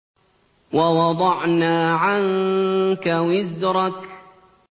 وَوَضَعْنَا عَنكَ وِزْرَكَ